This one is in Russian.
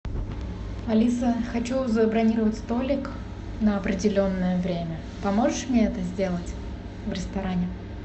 алиса хочу забронировать столик на определенное время поможешь мне это сделать в ресторане